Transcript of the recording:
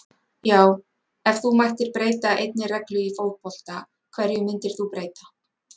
já Ef þú mættir breyta einni reglu í fótbolta, hverju myndir þú breyta?